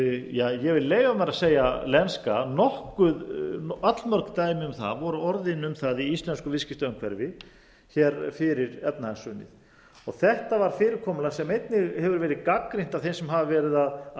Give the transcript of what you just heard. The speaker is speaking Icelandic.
ég vil leyfa mér að segja lenska allmörg dæmi um það voru orðin í íslensku viðskiptaumhverfi fyrir efnahagshrunið þetta var fyrirkomulag sem einnig hefur verið gagnrýnt af þeim sem hafa veri að